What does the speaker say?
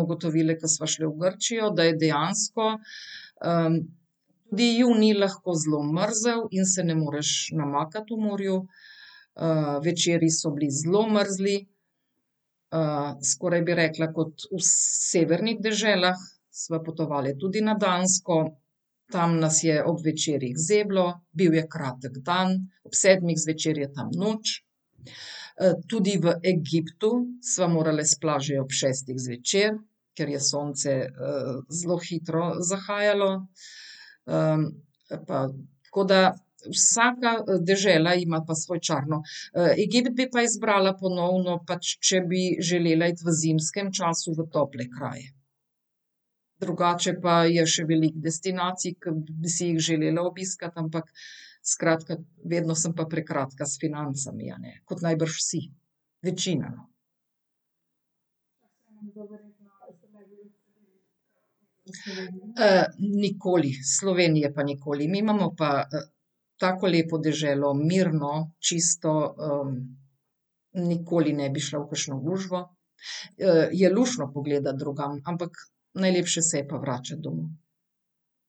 ugotovili, ko sva šle v Grčijo, da je dejansko, da je junij lahko zelo mrzel in se ne moreš namakati v morju. večeri so bili zelo mrzli. skoraj bi rekla kot v severnih deželah. Sva potovali tudi na Dansko, tam nas je ob večerih zeblo, bil je kratek dan. Ob sedmih zvečer je tam noč. tudi v Egiptu sva morale s plaže ob šestih zvečer, ker je sonce, zelo hitro zahajalo. pa tako da vsaka dežela ima pa svoj čar, no. Egipt bi pa izbrala ponovno pač, če bi želela iti v zimskem času v tople kraje. Drugače pa je še veliko destinacij, ki bi si jih želela obiskati, ampak skratka, vedno sem pa prekratka s financami, a ne, kot najbrž vsi. Večina, no. nikoli. Slovenije pa nikoli. Mi imamo pa tako lepo deželo, mirno, čisto, nikoli ne bi šla v kakšno gužvo. je luštno pogledati drugam, ampak najlepše se je pa vračati domov.